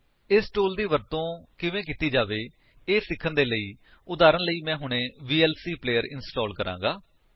ਇਸ ਟੂਲ ਦੀ ਵਰਤੋ ਕਿਵੇਂ ਕੀਤੀ ਜਾਵੇ ਇਹ ਸਿੱਖਣ ਦੇ ਲਈ ਉਦਾਹਰਣ ਦੇ ਰੂਪ ਵਿੱਚ ਮੈਂ ਹੁਣੇ ਵੀਐਲਸੀ ਪਲੇਅਰ ਇੰਸਟਾਲ ਕਰਾਂਗਾ